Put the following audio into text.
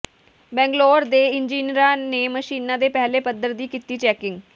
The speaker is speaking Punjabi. ਬੰਗਲੌਰ ਦੇ ਇੰਜੀਨੀਅਰਾਂ ਨੇ ਮਸ਼ੀਨਾਂ ਦੇ ਪਹਿਲੇ ਪੱੱਧਰ ਦੀ ਕੀਤੀ ਚੈਕਿੰਗ